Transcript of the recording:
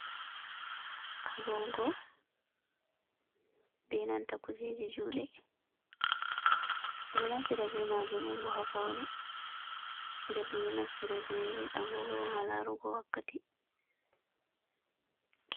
Agogo ɓe nanta kujeji juɗe, domɗo naftira be majum'onbo ha faune, ɗen dom ɗo naftira ɓe agogo ha larugo wakkati.